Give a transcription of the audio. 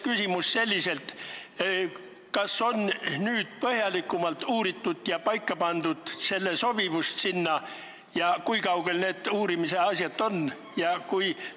Mul on selline küsimus: kas on põhjalikumalt uuritud selle sobivust sinna, kui kaugel need uurimise asjad on?